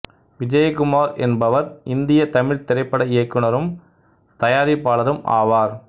விஜயகுமார் எனபவர் இந்திய தமிழ்த் திரைப்பட இயக்குனரும் தயாரிப்பாளரரும் ஆவார்